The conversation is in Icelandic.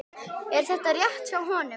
Er þetta rétt hjá honum?